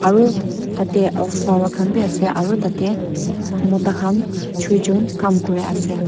aru tate flower khan bi ase aru tate mota khan chuijen kam kuri ase.